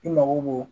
I mago b'o